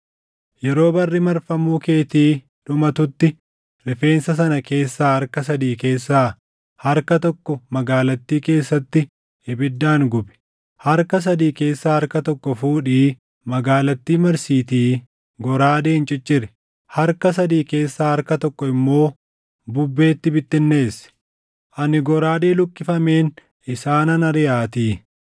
Yeroo barri marfamuu keetii dhumatutti rifeensa sana keessaa harka sadii keessaa harka tokko magaalattii keessatti ibiddaan gubi. Harka sadii keessaa harka tokko fuudhii magaalattii marsiitii goraadeen cicciri. Harka sadii keessaa harka tokko immoo bubbeetti bittinneessi. Ani goraadee luqqifameen isaanan ariʼaatii.